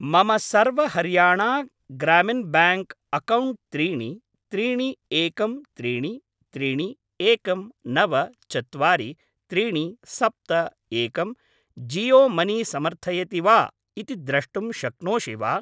मम Sarva Haryana Gramin bank account त्रीणि त्रीणि एकं त्रीणि त्रीणि एकं नव चत्वारि त्रीणि सप्त एकं जीयो मनी समर्थयति वा इति द्रष्टुं शक्नोषि वा?